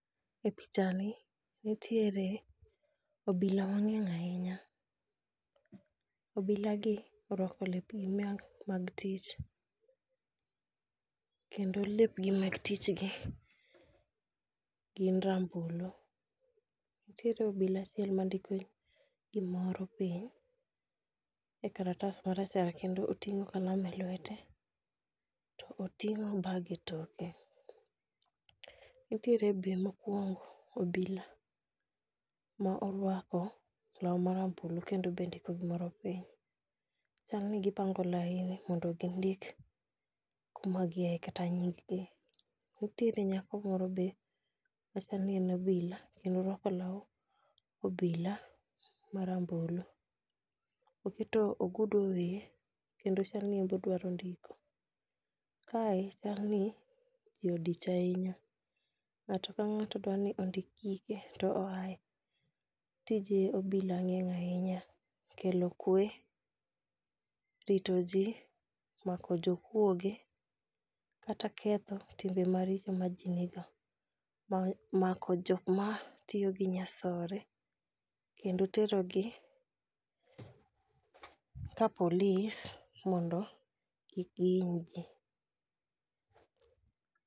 E pichani nitiere obila mang'eny ahinya. Obilagi orwako lepgi mag tich kendo lepgi mag tichgi gin rambulu. Nitiere obila achiel mandiko gimoro piny e karatas marachar kendo oting'o kalam e lwete to oting'o bag e toke. Nitiere be mokwongo obila mo orwako long marambulu kendo be ndiko gimoro piny. Chal ni gipango laini mondo gindik kuma giaye kata nyinggi. Nitiere nyako moro be ,machal ni en obila kendo orwako law obila marambulu, oketo ogudu e,kendo chal ni en be odwaro ndiko. Kae chal ni ji odich ahinya, ng'ato ka ng'ato dwa ni ondik gige to oaye. Tij obila ng'eng' ahinya, kelo kwe, rito ji, mako jokwoge kata ketho timbe maricho ma ji nigo, mako jok matiyo gi nyasore kendo terogi ka polis mondo kik gihiny ji.